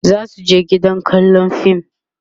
zasu je gidan kallan fim